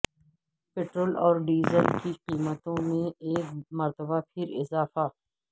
petrol اور diesel کی قیمتوں میں ایک مرتبہ پھر اضافہ